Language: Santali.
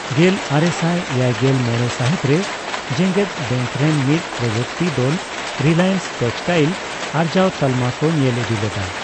ᱜᱮᱞ ᱟᱨᱮᱥᱟᱭ ᱮᱭᱟᱭᱜᱮᱞ ᱢᱚᱲᱮ ᱥᱟᱹᱦᱤᱛ ᱨᱮ, ᱡᱮᱜᱮᱫ ᱵᱮᱝᱠ ᱨᱮᱱ ᱢᱤᱫ ᱯᱨᱚᱡᱩᱠᱛᱤᱠ ᱫᱚᱞ 'ᱨᱤᱞᱟᱭᱮᱱᱥ ᱴᱮᱠᱥᱴᱟᱭᱤᱞ' ᱟᱨᱡᱟᱣ ᱛᱟᱞᱢᱟ ᱠᱚ ᱧᱮᱞ ᱤᱫᱤ ᱞᱮᱫᱟ ᱾